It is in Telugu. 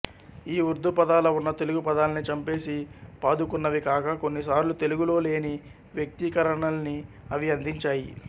ఈ ఉర్దూపదాల ఉన్న తెలుగు పదాల్ని చంపేసి పాదుకున్నవి కాక కొన్ని సార్లు తెలుగులో లేని వ్యక్తీకరణల్ని అవి అందించాయి